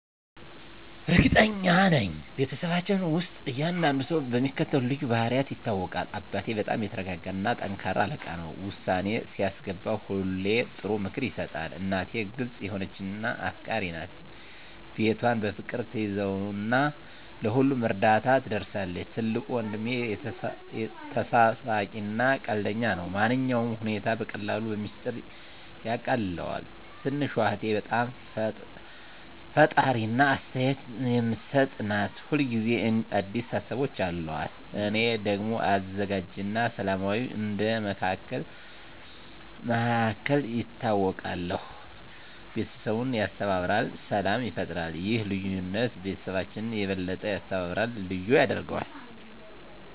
እርግጠኛ ነኝ፤ በቤተሰባችን ውስጥ እያንዳንዱ ሰው በሚከተሉት ልዩ ባህሪያት ይታወቃል - አባቴ በጣም የተረጋጋ እና ጠንካራ አለቃ ነው። ውሳኔ ሲያስገባ ሁሌ ጥሩ ምክር ይሰጣል። **እናቴ** ግልጽ የሆነች እና አፍቃሪች ናት። ቤቷን በፍቅር ትያዘው እና ለሁሉም እርዳታ ትደርሳለች። **ትልቁ ወንድሜ** ተሳሳቂ እና ቀልደኛ ነው። ማንኛውንም ሁኔታ በቀላሉ በሚስጥር ያቃልለዋል። **ትንሹ እህቴ** በጣም ፈጣሪ እና አስተያየት የምትሰጥ ናት። ሁል ጊዜ አዲስ ሀሳቦች አሉት። **እኔ** ደግሞ አዘጋጅ እና ሰላማዊ እንደ መሃከል ይታወቃለሁ። ቤተሰቡን ያስተባብራል እና ሰላም ይፈጥራል። ይህ ልዩነት ቤተሰባችንን የበለጠ ያስተባብራል እና ልዩ ያደርገዋል።